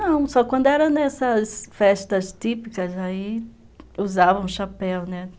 Não, só quando era nessas festas típicas aí, usavam chapéu, né?